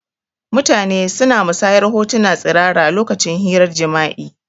Mutane suna musanyar hotuna tsirara lokacin hirar jima'i